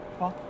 Bax.